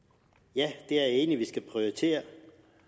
ja jeg er enig i at vi skal prioritere